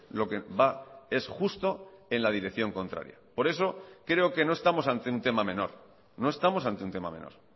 lo que va es justo en la dirección contraria por eso creo que no estamos ante un tema menor no estamos ante un tema menor